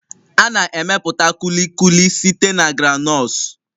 A na-emepụta Kulikuli site na groundnuts